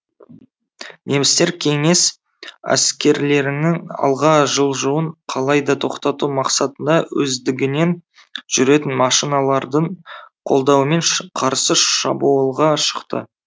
немістер кеңес әскерлерінің алға жылжуын қалайда тоқтату мақсатында өздігінен жүретін машиналардың қолдауымен қарсы шабуылға шықты